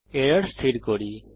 এখন এরর স্থির করি